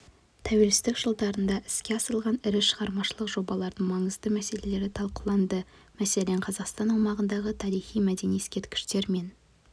тәуелсіздік жылдарында іске асырылған ірі шығармашылық жобалардың маңызды мәселелері талқыланды мәселен қазақстан аумағындағы тарихи-мәдени ескерткіштер мен